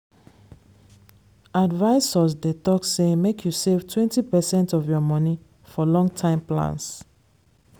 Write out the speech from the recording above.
advisors dey talk say make you savetwentypercent of your money for long-time plans.